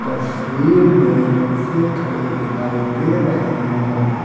तस्वीर में रिक्शे खड़े दिखाई दे रहे हैं।